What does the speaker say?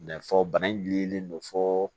N'a fɔ bana in gililen don fɔ